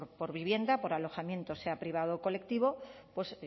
por vivienda por alojamiento sea privado o colectivo pues